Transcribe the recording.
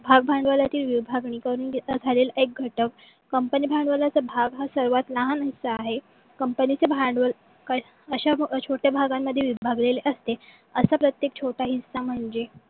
भाग भांडवलातील विभागणी करून घेत खालील एक घटक company भांडवलाचे भाग हे सर्वात लहान हिस्सा आहे. कंपनीचे भांडवल अश्या छोट्या भागांमध्ये विभागलेले असते. अश्या प्रत्येक छोटा हिस्सा म्हणजे